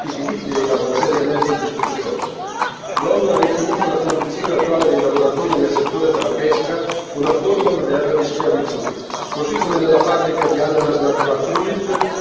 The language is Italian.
L'ONU ha definito la condizione attuale dei lavoratori nel settore della pesca una forma moderna di schiavitù, così come nella fabbrica di ananas Natural Fruit denunciate dall'attivista britannico Andy Hall.